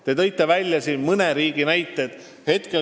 Te tõite mõne riigi ka näiteks.